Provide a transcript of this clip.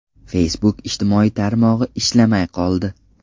Facebook ijtimoiy tarmog‘i ishlamay qoldi.